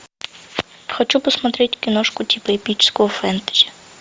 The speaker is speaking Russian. хочу посмотреть киношку типа эпического фэнтези